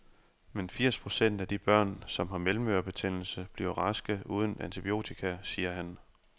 Men firs procent af de børn, som har mellemørebetændelse, bliver raske uden antibiotika, siger han.